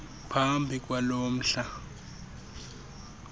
phambi kwalo mhla